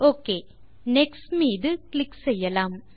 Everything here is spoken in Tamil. ஒக்கே நெக்ஸ்ட் மீது இப்போது கிளிக் செய்யலாம்